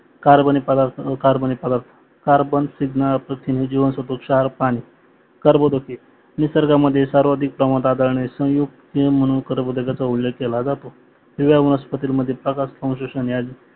कार्बनी प्रदार्थ कार्बनी फलक कार्बन स्निग्ध प्रथिने जिवनसत्व क्षार पाणी कार्बोदके निसर्ग मध्ये सर्वाधिक प्रमाणात आढळणे संयुक्त नियम म्हणून करब्थोकचा उलेख केला जातो पिवळ्या वनस्पतीमध्ये